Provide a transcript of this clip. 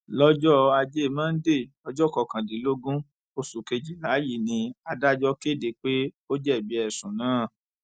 lọjọ ajé monde ọjọ kọkàndínlógún oṣù kejìlá yìí ni adájọ kéde pé ó jẹbi ẹsùn náà